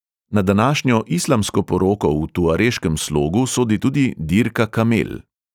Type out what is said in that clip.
Na današnjo islamsko poroko v tuareškem slogu sodi tudi dirka kamel.